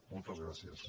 moltes gràcies